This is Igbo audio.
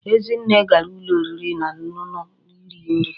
Ezinne gara ulo oriri na onunu iri nri